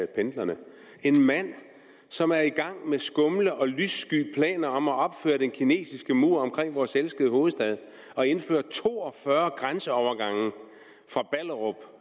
pendlerne en mand som er i gang med skumle og lyssky planer om at opføre den kinesiske mur omkring vores elskede hovedstad og indføre to og fyrre grænseovergange fra ballerup